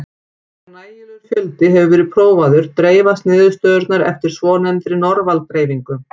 Þegar nægilegur fjöldi hefur verið prófaður dreifast niðurstöðurnar eftir svonefndri normal-dreifingu.